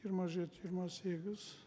жиырма жеті жиырма сегіз